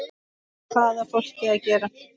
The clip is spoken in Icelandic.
Hvað á fólkið að gera?